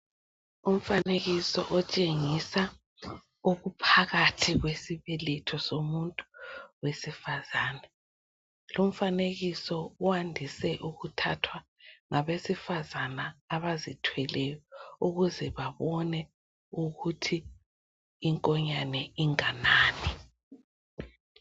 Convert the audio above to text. Umfanekiso otshengisa okuphakathi kwesibeletho somuntu wesifazana, lumfanekiso wandise ukuthathwa ngabesifazana abazithweleyo ukuze babone ukuthi inkonyane inganani.